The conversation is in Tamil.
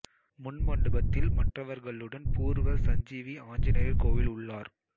முன் மண்டபத்தில் மற்றவர்களுடன் பூர்வ சஞ்சீவி ஆஞ்சநேயர் கோயில் உள்ளார்